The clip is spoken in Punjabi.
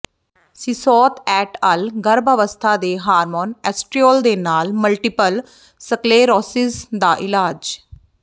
ਸਿਸੋਤ ਐਟ ਅਲ ਗਰੱਭ ਅਵਸਥਾ ਦੇ ਹਾਰਮੋਨ ਐਸਟ੍ਰਿਓਲ ਦੇ ਨਾਲ ਮਲਟੀਪਲ ਸਕਲੈਰੋਸਿਸ ਦਾ ਇਲਾਜ